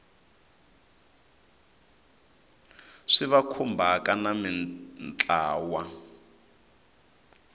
swi va khumbhaka na mintlawa